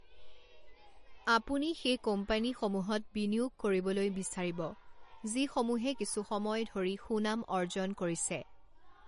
আপুনি সেই কোম্পানীসমূহত বিনিয়োগ কৰিবলৈ বিচাৰিব যিসমূহে কিছুসময় ধৰি সুনাম অৰ্জন কৰিছে।